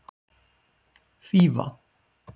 Fífa